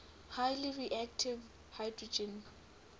highly reactive hydrogen